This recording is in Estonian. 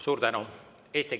Suur tänu!